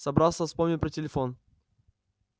собрался вспомнил про телефон